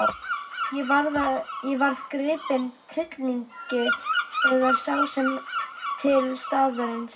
Ég varð gripinn tryllingi þegar sá heim til staðarins.